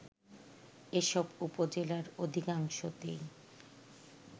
এসব উপজেলার অধিকাংশতেই